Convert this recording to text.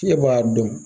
E b'a dɔn